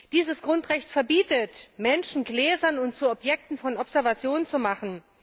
Dieses Grundrecht verbietet, Menschen gläsern und zu Objekten von Observation zu machen.